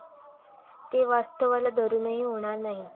ते वास्तवाला धरूनही होणार नाही.